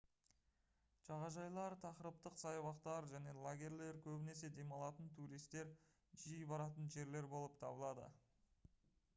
жағажайлар тақырыптық саябақтар және лагерьлер көбінесе демалатын туристер жиі баратын жерлер болып табылады